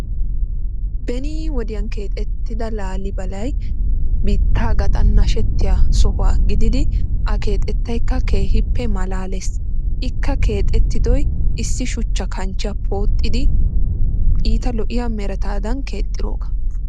Beeni wodiyan keexxettida laalibalay biittaa gaxxan nashshettiya sohuwa gidid a keexxettaykka keehiippe malalees. Ikka keexxettidoy issi shuchchaa kanchchiya pooxxidi iitta loiya meretaadan keexxiroogaa.